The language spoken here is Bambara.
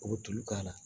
U bɛ tulu k'a la